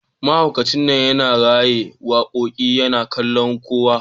Mahaukacin nan yana rera wakoki yana kallon kowa